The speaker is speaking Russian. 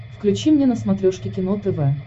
включи мне на смотрешке кино тв